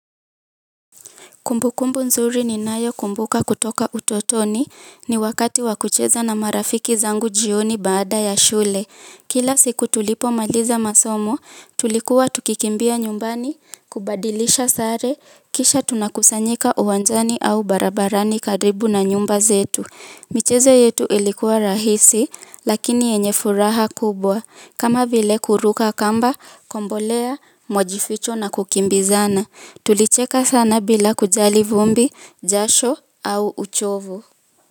Kumbukumbu nzuri ninayokumbuka kutoka utotoni ni wakati wa kucheza na marafiki zangu jioni baada ya shule. Kila siku tulipomaliza masomo, tulikuwa tukikimbia nyumbani, kubadilisha sare, kisha tunakusanyika uwanjani au barabarani karibu na nyumba zetu. Michezo yetu ilikuwa rahisi, lakini yenye furaha kubwa. Kama vile kuruka kamba, kombolea, majificho na kukimbizana. Tulicheka sana bila kujali vumbi, jasho au uchovu.